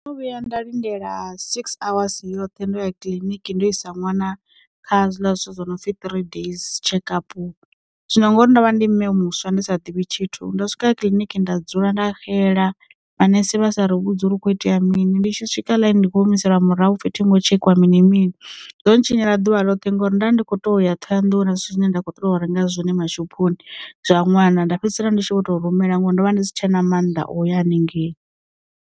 Ndo vhuya nda lindela six awasi yoṱhe ndo ya kiḽiniki ndo isa ṅwana kha zwiḽa zwithu zwo no pfi three days tshekapu, zwino ngori ndovha ndi mme muswa ndi sa ḓivhi tshithu, ndo swika kiḽiniki nda dzula nda xela manese vha sa ri vhudzula hu kho itea mini ndi tshi swika ḽayini ndi kho humiselwa murahu hu pfi thingo tshekiwa mini mini zwo ntshinyela ḓuvha ḽoṱhe ngauri nda ndi kho to ya ṱhohoyanḓou huna zwithu zwine nda kho ṱoḓa u renga zwone mashophoni zwa ṅwana, nda fhedzisela ndi tshi vho to rumela ngori ndo vha ndi si tshena mannḓa o ya haningei.